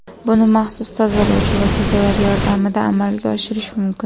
Buni maxsus tozalovchi vositalar yordamida amalga oshirish mumkin.